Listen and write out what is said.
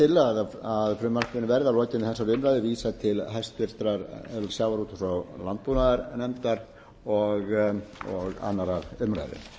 þess til að frumvarpinu verði að lokinni þessari umræðu vísað til háttvirtrar sjávarútvegs og landbúnaðarnefndar og annarrar umræðu